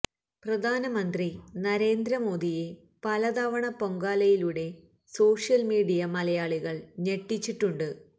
പ്രധാനമന്ത്രി നരേന്ദ്ര മോദിയെ പല തവണ പൊങ്കാലയിലൂടെ സോഷ്യല് മീഡിയ മലയാളികള് ഞെട്ടിച്ചിട്ടുണ്ട്